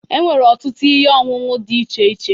E nwere ọtụtụ ihe ọṅụṅụ dị iche iche.